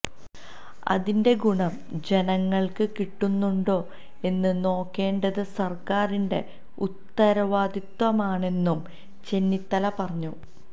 അതിന്റെ ഗുണം ജനങ്ങള്ക്ക് കിട്ടുന്നുണ്ടൊ എന്ന് നോക്കേണ്ടത് സര്ക്കാറിന്റെ ഉത്തരവാദിത്തമാണെന്നും ചെന്നിത്തല പറഞ്ഞു